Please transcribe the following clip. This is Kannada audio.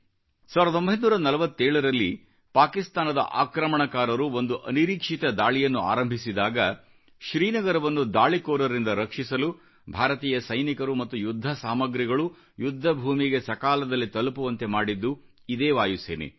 1947 ನಲ್ಲಿ ಪಾಕಿಸ್ತಾನದ ಆಕ್ರಮಣಕಾರರು ಒಂದು ಅನಿರೀಕ್ಷಿತ ದಾಳಿಯನ್ನು ಆರಂಭಿಸಿದಾಗ ಶ್ರೀನಗರವನ್ನು ದಾಳಿಕೋರರಿಂದ ರಕ್ಷಿಸಲು ಭಾರತೀಯ ಸೈನಿಕರು ಮತ್ತು ಯುದ್ಧ ಸಾಮಗ್ರಿಗಳು ಯುದ್ಧ ಭೂಮಿಗೆ ಸಕಾಲದಲ್ಲಿ ತಲುಪುವಂತೆ ಮಾಡಿದ್ದು ಇದೇ ವಾಯುಸೇನೆ